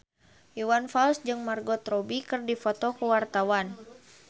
Iwan Fals jeung Margot Robbie keur dipoto ku wartawan